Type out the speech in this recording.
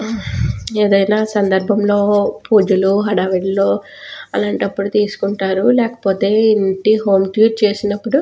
ఏదైనా సందర్భంలో పూజలు హడావిడిలో అలాంటి అప్పుడు తీసుకుంటారు లేకపోతే ఇంటి హోం టూర్ చేసినపుడు --